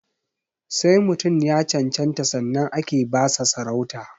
Sai mutum ya cancanta sannan ake ba sa sarauta